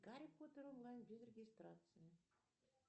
гарри поттер онлайн без регистрации